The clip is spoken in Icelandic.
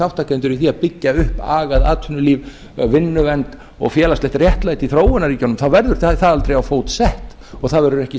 þátttakendur í því að byggja upp agað atvinnulíf vinnuvernd og félagslegt réttlæti í þróunarríkjunum þá verður það aldrei á fót sett og það verður ekki